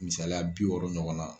Misaliya bi wɔɔrɔ ɲɔgɔn na.